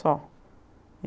Só.